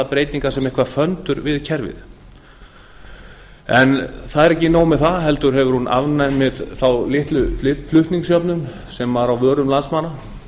breytingar sem eitthvert föndur við kerfið en það er ekki nóg með það heldur hefur hún afnumið þá litlu flutningsjöfnun sem er á vörum landsmanna